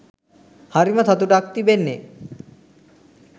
හරිම සතුටක් තිබෙන්නේ.